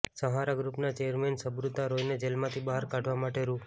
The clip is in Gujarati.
સહારા ગ્રૂપના ચેરમેન સુબ્રતા રોયને જેલમાંથી બહાર કાઢવા માટે રૂ